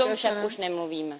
O tom však už nemluvíme.